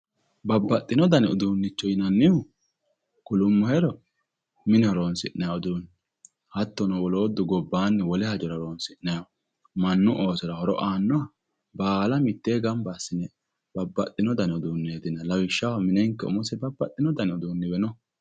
babbaxino dani uduunnicho yinannihu kulummohero mine horonsi'nanni uduunne hattono woloottu gobbaanni wole hajora horonsinanni uduunne mannu oosora horo aannoha baala mittee gamba assine babbaxino dani uduunneeti yinanni lawishshaho minenke umosi babbaxino dani uduunni we no.